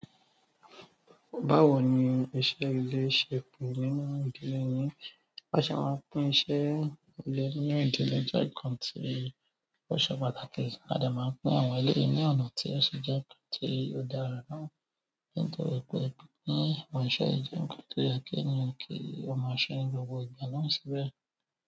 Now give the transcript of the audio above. Báwo ni iṣẹ́ ilé ṣe pè nínú ìdílé yín? Bi a se máa ń pín iṣẹ́ ilé nínú ìdílé jẹ́ nǹkan tí ó ṣe pàtàkì. A dẹ̀ máa ń pín àwọn eleyi ní ọ̀nà tí ó ṣe jẹ́ nǹkan tí ó dára náà. Nítorí pé pín àwọn iṣẹ́ yi jẹ nǹkan tó yẹ kí ènìyàn kí o maa se ní gbogbo ìgbà náà síbẹ̀.